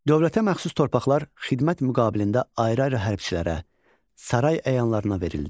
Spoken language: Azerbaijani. Dövlətə məxsus torpaqlar xidmət müqabilində ayrı-ayrı hərbçilərə, saray əyanlarına verildi.